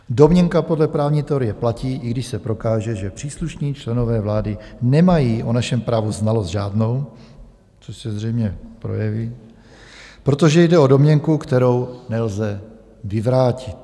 Domněnka podle právní teorie platí, i když se prokáže, že příslušní členové vlády nemají o našem právu znalost žádnou, což se zřejmě projeví, protože jde o domněnku, kterou nelze vyvrátit.